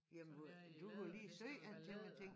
Som er i læder det skal da være læder